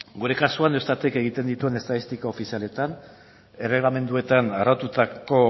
gure kasuan eustatek egiten dituen estatistika ofizialetan erregelamenduetan araututako